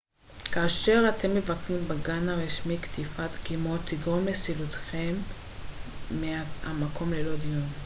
כאשר אתם מבקרים בגן רשמי קטיפת דגימות תגרום לסילוקכם מהמקום ללא דיון